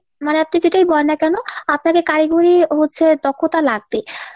মানে আপনি যেটাই বলেন না কেন আপনাকে কারিগরি হচ্ছে দক্ষতা লাগবেই।